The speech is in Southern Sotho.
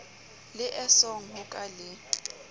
le esong ho ka le